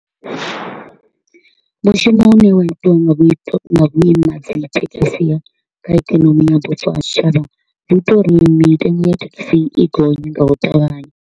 Mushumo u ne wa itiwa nga nga vhuima ha dzithekhisi kha ikonomi ya bufho ha tshitshavha, zwi ita uri mitengo ya thekhisi i gonye nga u ṱavhanya.